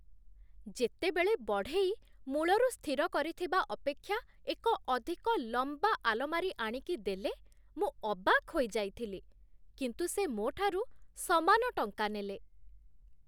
ଯେତେବେଳେ ବଢ଼େଇ ମୂଳରୁ ସ୍ଥିର କରିଥିବା ଅପେକ୍ଷା ଏକ ଅଧିକ ଲମ୍ବା ଆଲମାରୀ ଆଣିକି ଦେଲେ, ମୁଁ ଅବାକ୍ ହୋଇଯାଇଥିଲି, କିନ୍ତୁ ସେ ମୋଠାରୁ ସମାନ ଟଙ୍କା ନେଲେ।